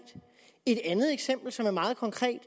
et andet eksempel som er meget konkret